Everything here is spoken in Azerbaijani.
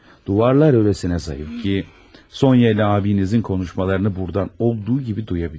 Divarlar elə incədir ki, Sonya ilə abinizin danışıqlarını buradan olduğu kimi duya bilirəm.